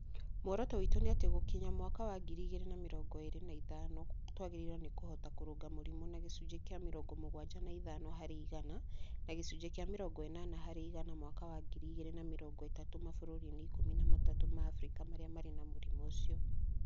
"Muoroto witũ nĩ atĩ gũkinya mwaka wa ngiri igĩrĩ na mĩrongo ĩrĩ na ithano twagĩrĩirwo nĩ kũhota kũrũnga mũrimũ na gĩcunjĩ kĩa mĩrongo mugwaja na ithano harĩ igana na gĩcunjĩ kĩa mĩrongo ĩnana harĩ igana mwaka wa ngiri igiri na mirongo ĩtatu mabũrũri-inĩ ikumi na matatũ ma Abirika marĩa marĩ na mũrimũ ũcio".